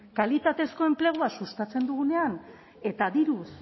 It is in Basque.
kalitatezko enplegua sustatzen dugunean eta diruz